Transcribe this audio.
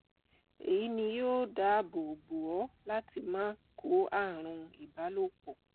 èyí ni yóò dáàbò bò ọ láti má kó ààrùn ibalopọ